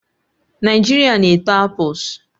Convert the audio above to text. Naijiria na-eto apples